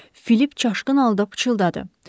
Filip çaşqın halda pıçıldadı.